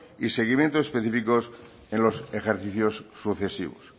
y seguimiento específicos en los ejercicios sucesivos